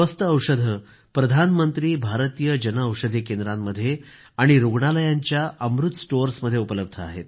स्वस्त औषधं प्रधानमंत्री भारतीय जनऔषधी केंद्रांमध्ये आणि रूग्णालयांच्या अमृत स्टोअर्समध्ये उपलब्ध आहेत